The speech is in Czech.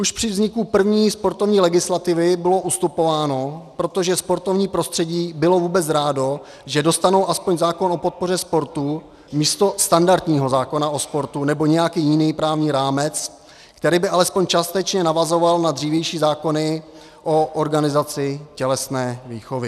Už při vzniku první sportovní legislativy bylo ustupováno, protože sportovní prostředí bylo vůbec rádo, že dostanou aspoň zákon o podpoře sportu místo standardního zákona o sportu, nebo nějaký jiný právní rámec, který by alespoň částečně navazoval na dřívější zákony o organizaci tělesné výchovy.